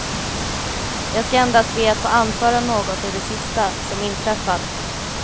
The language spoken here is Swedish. Jag ska endast be att få anföra något ur det sista, som inträffat.